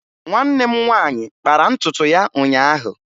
Nwanne m nwaanyị kpara ntutu ya ụnyaahụ